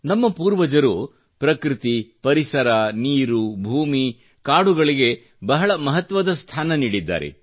ನಮ್ಮ ಪೂರ್ವಜರು ಪೃಕೃತಿ ಪರಿಸರ ನಿರು ಭೂಮಿ ಕಾಡುಗಳಿಗೆ ಬಹಳ ಮಹತ್ವದ ಸ್ಥಾನ ನೀಡಿದ್ದಾರೆ